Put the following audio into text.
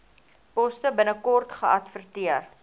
poste binnekort geadverteer